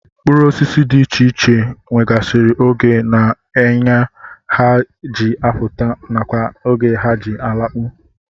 Mkpụrụosisi dị iche iche nwegasịrị oge na eye ha ji apụta nakwa oge ha ji alakpu